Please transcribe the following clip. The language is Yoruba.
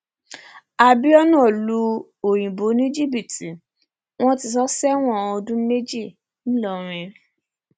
abiona lu òyìnbó ní jìbìtì wọn ti sọ ọ sẹwọn ọdún méjì ńìlọrin